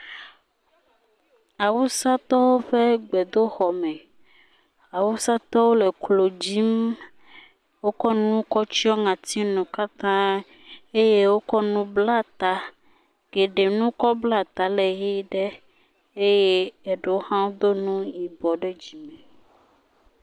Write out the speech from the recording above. Awusatɔwo ƒe gbedoxɔme. Awusatɔwo le klo dzim, wokɔ nu kɔ tsyɔ ŋɔtinu katã, eye wokɔ nu kɔ bla ta, geɖe nukɔ bla ta le ʋɛ̃ ɖe eye eɖewo hã do nu yibɔ dzime.